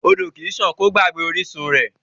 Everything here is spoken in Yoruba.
Odò kì í sàn kí ó gbàgbé orísun rẹ̀.